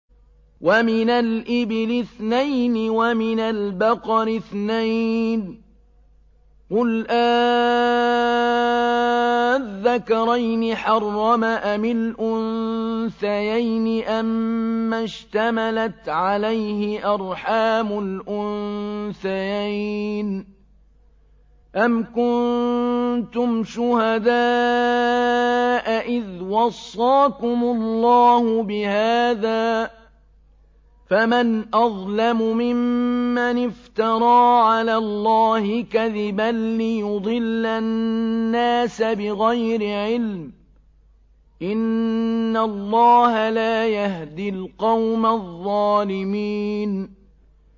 وَمِنَ الْإِبِلِ اثْنَيْنِ وَمِنَ الْبَقَرِ اثْنَيْنِ ۗ قُلْ آلذَّكَرَيْنِ حَرَّمَ أَمِ الْأُنثَيَيْنِ أَمَّا اشْتَمَلَتْ عَلَيْهِ أَرْحَامُ الْأُنثَيَيْنِ ۖ أَمْ كُنتُمْ شُهَدَاءَ إِذْ وَصَّاكُمُ اللَّهُ بِهَٰذَا ۚ فَمَنْ أَظْلَمُ مِمَّنِ افْتَرَىٰ عَلَى اللَّهِ كَذِبًا لِّيُضِلَّ النَّاسَ بِغَيْرِ عِلْمٍ ۗ إِنَّ اللَّهَ لَا يَهْدِي الْقَوْمَ الظَّالِمِينَ